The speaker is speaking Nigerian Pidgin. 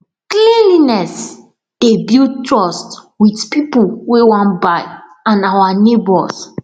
cleanliness dey build trust with people wey wan buy and our neighbors